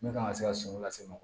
Min kan ka se ka sɔngɔ lase mɔgɔ ma